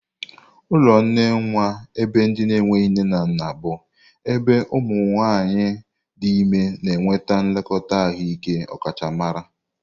Ụlọ nne nwa ebe ndị enweghi nne na nna bụ ebe ụmụ nwanyị dị ime na enweta nlekọta ahụike ọkachamara.